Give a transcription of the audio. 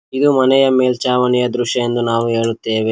ಇದು ಮನೆಯ ಮೇಲ್ಛಾವಣಿಯ ದೃಶ್ಯ ಎಂದು ನಾವು ಹೇಳುತ್ತೇವೆ.